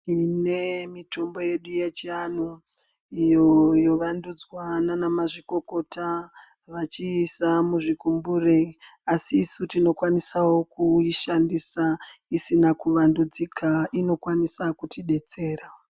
Tine mitombo yedu yechianhu iyo yovandidzwa nana mazvikokota vachiisa muzvigumbure asi isu tinokwanisawo kuishandisa isina kuvandudzika inokwanisa kutidetsera.